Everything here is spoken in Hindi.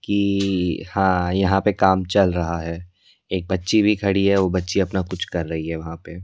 कि हां यहां पे काम चल रहा है एक बच्ची भी खड़ी है वो बच्ची अपना कुछ कर रही है वहां पे--